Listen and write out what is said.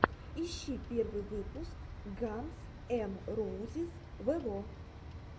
ищи первый выпуск ганз эн роузиз вево